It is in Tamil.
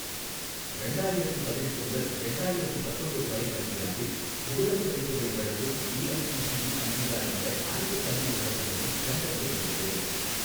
ரெண்டாயிரத்தி பதினெட்டு முதல் ரெண்டாயிரத்தி பத்தொம்போது வரை கல்வியாண்டில் முதுகலைப் படிப்புகளை வழங்கும் ஏஐஸிடிஇ அங்கீகாரமுள்ள அனைத்துக் கல்வி நிறுவனங்களையும் கண்டறிய விரும்புகிறேன்